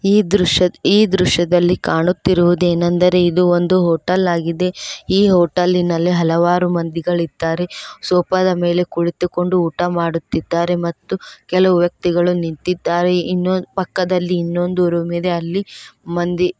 ಈ ದೃಶ್ಯ ಈ ದೃಶ್ಯದಲ್ಲಿ ಕಾಣುತ್ತಿರುವುದೇನೆಂದರೇ ಇದು ಒಂದು ಹೋಟಲ್ ಆಗಿದೆ ಈ ಹೊಟ್ಟಲ್ಲಿನಲ್ಲಿ ಹಲವಾರು ಮಂದಿಗಳಿದ್ದಾರೆ ಸೋಫಾದ ಮೇಲೆ ಕುಳಿತುಕೊಂಡು ಊಟ ಮಾಡುತ್ತಿದ್ದಾರೆ ಮತ್ತು ಕೆಲವು ವ್ಯಕ್ತಿಗಳು ನಿಂತಿದ್ದಾರೆ ಇನ್ನು ಪಕ್ಕದಲ್ಲಿ ಇನ್ನೊಂದು ರೂಮಿದೆ ಅಲ್ಲಿ ಮಂದಿ--